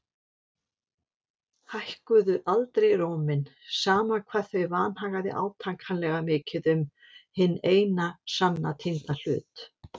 Hækkuðu aldrei róminn, sama hvað þau vanhagaði átakanlega mikið um hinn eina sanna týnda hlut.